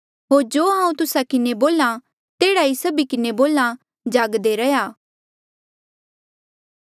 होर जो हांऊँ तुस्सा किन्हें बोल्हा तेह्ड़ा ई सभी किन्हें बोल्हा जागदे रैहया